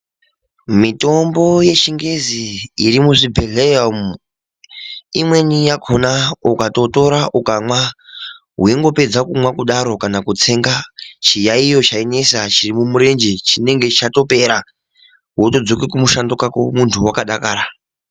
Mitombo yechingezi iri muzvibhedhlera umu imweni yakona ukatotora ukamwa weingopedza kumwa kudaro kana kutsenga chiyaiyo chainesa chiri murenje chinenge chatopera wotodzoka kumushando kwako muntu wakadakara.